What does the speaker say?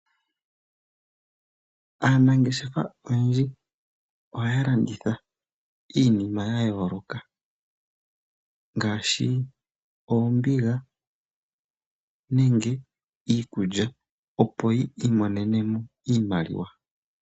Aanangeshefa oyendji ohaya landitha iinima ya yooloka ngaashi oombiga nenge iikulya opo yiimonene mo iimaliwa.